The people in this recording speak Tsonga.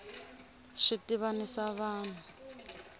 swi tivanisa vanhu